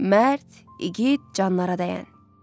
Mərd, igid, canlara dəyən.